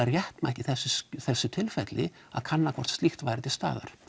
réttmætt í þessu tilfelli að kanna hvort slíkt væri til staðar